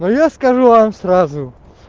но я скажу вам сразу